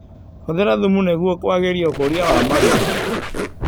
Hũthĩra thumu nĩguo kwagĩria ũkũria wa marigũ.